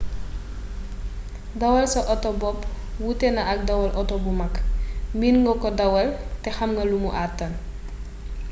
dawal sa auto bopp wuute na ak dawal auto bu mag miin nga ko dawal te xamna lumu àttan